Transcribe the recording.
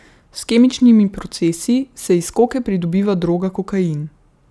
S kemičnimi procesi se iz koke pridobiva droga kokain.